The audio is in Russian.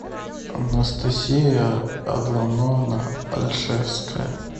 анастасия адлановна ольшевская